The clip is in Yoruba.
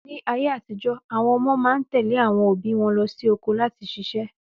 Ní ayé àtijó, àwọn ọmọ máa ń tèlé àwọn òbí wọn lọ sí oko láti ṣiṣẹ́